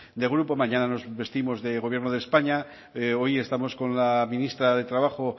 de grupo mañana nos vestimos del gobierno de españa hoy estamos con la ministra de trabajo